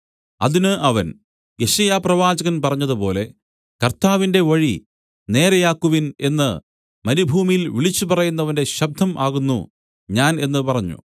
അതിന് അവൻ യെശയ്യാപ്രവാചകൻ പറഞ്ഞതുപോലെ കർത്താവിന്റെ വഴി നേരെ ആക്കുവിൻ എന്നു മരുഭൂമിയിൽ വിളിച്ചുപറയുന്നവന്റെ ശബ്ദം ആകുന്നു ഞാൻ എന്നു പറഞ്ഞു